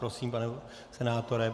Prosím, pane senátore.